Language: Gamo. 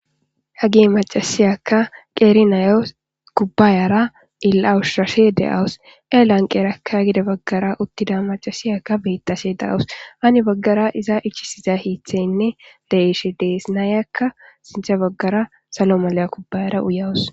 Hagi macasiyakka qeeri nayo kubbayara illawushashe de7awus elan qeerakka gide baggara uttida macasiyaka beettashe daawus ani baggara iza ichisiza hiitheynne leishe dees naayakka sinthe baggara salo maliya kubbayara uyawus